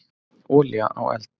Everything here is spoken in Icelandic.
Olía á eld.